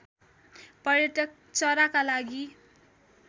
पर्यटक चराका लागि